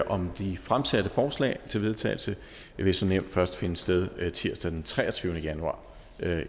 om de fremsatte forslag til vedtagelse vil som nævnt først finde sted tirsdag den treogtyvende januar